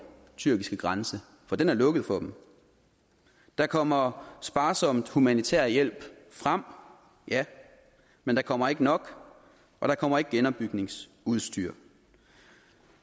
tyrkiske grænse for den er lukket for dem der kommer sparsom humanitær hjælp frem ja men der kommer ikke nok og der kommer ikke genopbygningsudstyr